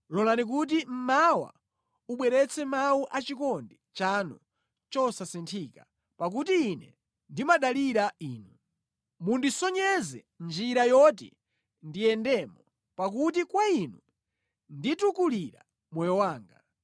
Lolani kuti mmawa ubweretse mawu achikondi chanu chosasinthika, pakuti ine ndimadalira Inu. Mundisonyeze njira yoti ndiyendemo, pakuti kwa Inu nditukulira moyo wanga.